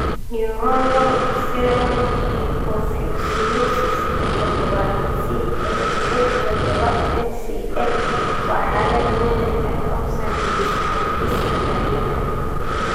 Neuronal ceroid lipofuscinosiska todobaad (CLN todoba NCL) waa xaalad naadir ah oo saameysa habdhiska dareenka.